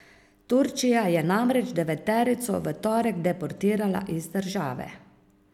Turčija je namreč deveterico v torek deportirala iz države.